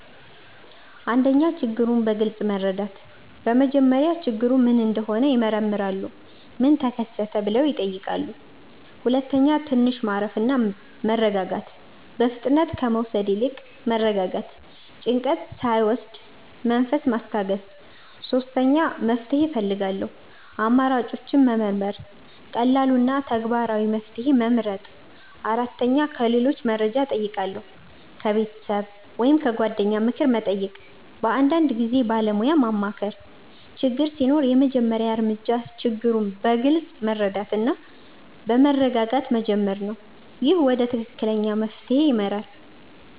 1. ችግሩን በግልጽ መረዳት በመጀመሪያ ችግሩ ምን እንደሆነ ይመረምራሉ “ምን ተከሰተ?” ብለው ይጠይቃሉ 2. ትንሽ ማረፍ እና መረጋጋት በፍጥነት መውሰድ ከመውሰድ ይልቅ መረጋጋት ጭንቀት ሳይወስድ መንፈስ ማስታገስ 3. መፍትሄ እፈልጋለሁ አማራጮችን መመርመር ቀላሉ እና ተግባራዊ መፍትሄ መመርጥ 4. ከሌሎች መርጃ እጨይቃለሁ ከቤተሰብ ወይም ከጓደኞች ምክር መጠየቅ በአንዳንድ ጊዜ ባለሞያ ማማከር ችግር ሲኖር የመጀመሪያ እርምጃ ችግሩን በግልጽ መረዳት እና በመረጋጋት መጀመር ነው። ይህ ወደ ትክክለኛ መፍትሄ ይመራል።